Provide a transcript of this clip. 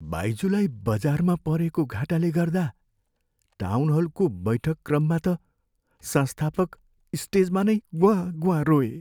बाइजुलाई बजारमा परेको घाटाले गर्दा टाउनहलको बैठक क्रममा त संस्थापक स्टेजमा नै ग्वाँ ग्वाँ रोए।